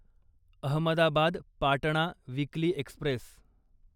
Ahmedabad Patna weekly Express